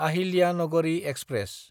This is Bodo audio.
आहिल्यानगरि एक्सप्रेस